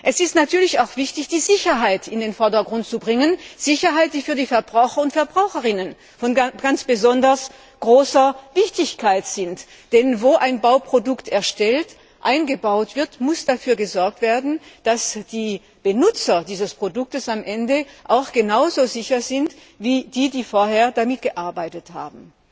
Es ist natürlich auch wichtig, die Sicherheit in den Vordergrund zu stellen, die für die Verbraucher und die Verbraucherinnen von ganz besonders großer Wichtigkeit ist. Denn wo ein Bauprodukt hergestellt und eingebaut wird, muss dafür gesorgt werden, dass die Benutzer dieses Produktes am Ende genau so sicher sind wie diejenigen, die vorher damit gearbeitet haben.